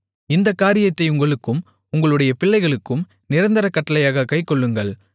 இந்தக் காரியத்தை உங்களுக்கும் உங்களுடைய பிள்ளைகளுக்கும் நிரந்தர கட்டளையாகக் கைக்கொள்ளுங்கள்